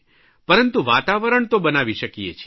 પરંતુ વાતાવરણ તો બનાવી શકીએ છીએ